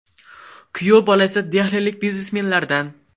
Kuyov bola esa Dehlilik biznesmenlardan.